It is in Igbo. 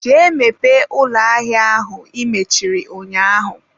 jee mepee ụlọ ahịa ahụ i mechiri ụnyaahụ.!